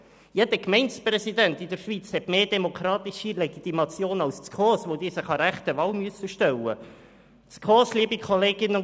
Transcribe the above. Jeder Gemeindepräsident in der Schweiz hat mehr demokratische Legitimation als die SKOS, weil sich Gemeindepräsidenten einer echten Wahl stellen müssen.